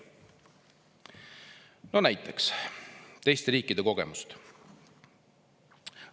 No näiteks teiste riikide kogemusi.